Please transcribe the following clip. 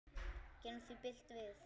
Gerum því bylt við.